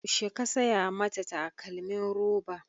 Yaushe ka saya mata takalmin roba?